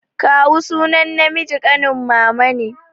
Kawu sunan namiji ɗanuwar Mama ne.